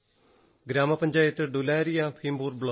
ഗ്രാമപഞ്ചായത്ത് ഡുലാരിയാ ഭീംപുർ ബ്ലോക്ക്